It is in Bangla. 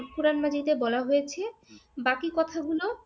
কোরআন মাজীদে বলা হয়েছে বাকি কথাগুলো